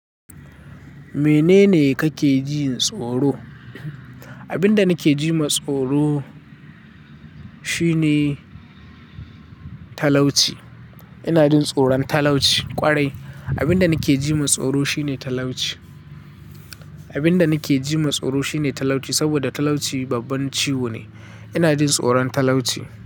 Menene kake jin tsoro? Abin da nake jin tsoro shine talauci. Ina jin tsoron talauci ƙwarai. Abin da nake ji matsaro shi ne talauci. Abin da nake ji matsaro shi ne talauci, saboda talauci babban ciwo ne. Ina jin tsoron talauci.